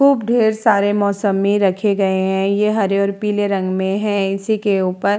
खूब ढ़ेर सारे मोसम्मी रखे गए हैं। ये हरे और पीले रंग में हैं। इसी के ऊपर --